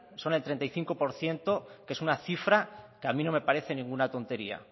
son el treinta y cinco por ciento que es una cifra que a mí no me parece ninguna tontería